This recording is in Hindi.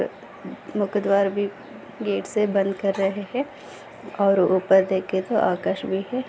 मुख द्वार भी गेट से बंद कर रहे है और उपर देखे तो आकाश भी है।